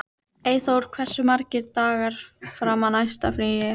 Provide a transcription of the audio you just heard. Eggþór, hversu margir dagar fram að næsta fríi?